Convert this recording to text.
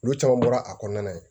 Olu caman bɔra a kɔnɔna na yen